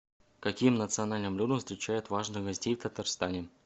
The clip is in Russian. каким национальным блюдом встречают важных гостей в татарстане